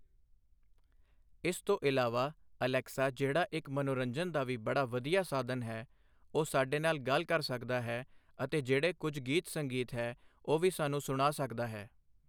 ਇਸ ਤੋਂ ਇਲਾਵਾ ਅਲੈਕਸਾ ਜਿਹੜਾ ਇੱਕ ਮੰਨੋਰੰਜਨ ਦਾ ਵੀ ਬੜਾ ਵਧੀਆ ਸਾਧਨ ਹੈ ਉਹ ਸਾਡੇ ਨਾਲ਼ ਗੱਲ ਕਰ ਸਕਦਾ ਹੈ ਅਤੇ ਜਿਹੜੇ ਕੁਛ ਗੀਤ ਸੰਗੀਤ ਹੈ ਉਹ ਵੀ ਸਾਨੂੰ ਸੁਣਾ ਸਕਦਾ ਹੈ।